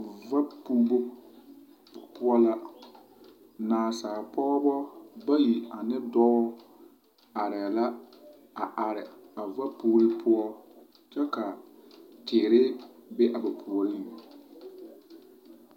Vapuubu poɔ la naasalpɔgɔbɔ bayi ane dɔ are la a are a vapuuri poɔ kyɛ ka tire be a ba poreŋ